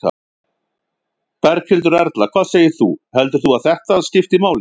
Berghildur Erla: Hvað segir þú, heldur þú að þetta skipti máli?